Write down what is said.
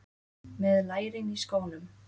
Með lærin í skónum.